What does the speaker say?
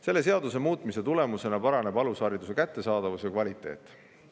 Selle seaduse tulemusena paraneb alushariduse kättesaadavus ja kvaliteet.